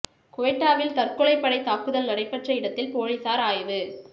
குவெட்டாவில் தற்கொலை படை தாக்குதல் நடைபெற்ற இடத்தில் போலீசார் ஆய்வு